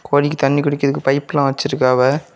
கோழிக்கு தண்ணி குடிக்கிறதுக்கு பைப்பெல்லாம் வெச்சி இருக்காவ.